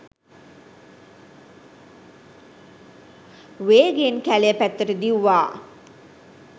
වේගයෙන් කැලය පැත්තට දිව්වා.